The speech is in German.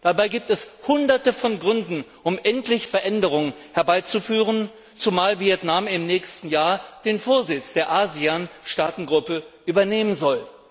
Dabei gibt es Hunderte von Gründen, um endlich Veränderungen herbeizuführen, zumal Vietnam im nächsten Jahr den Vorsitz der ASEAN Staatengruppe übernehmen soll.